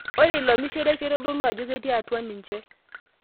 Ore ilo mishire keitodolu ajo ketii atwa ninche.